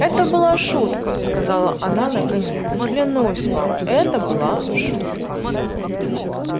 это была шутка сказала она наконец клянусь вам это была шутка